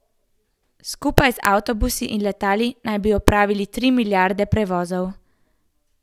Skupaj z avtobusi in letali naj bi opravili tri milijarde prevozov.